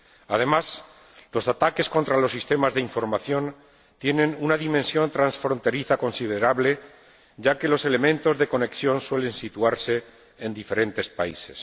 Además, los ataques contra los sistemas de información tienen una dimensión transfronteriza considerable, ya que los elementos de conexión suelen situarse en diferentes países.